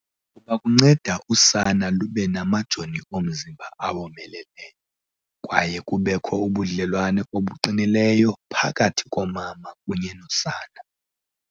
kuba kunceda usana lube namajoni omzimba awomeleleyo, kwaye kubekho ubudlelwane obuqinileyo phakathi komama kunye nosana.